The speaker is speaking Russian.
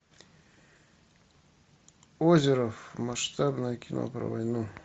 озеров масштабное кино про войну